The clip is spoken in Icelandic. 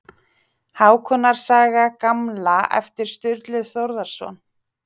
Hákonar saga gamla eftir Sturlu Þórðarson.